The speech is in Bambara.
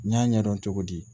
N y'a ɲɛdɔn cogo di